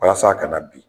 Walasa a kana bin